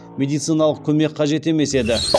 медициналық көмек қажет емес еді